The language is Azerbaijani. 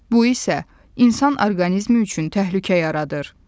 Bu isə insan orqanizmi üçün təhlükə yaradır.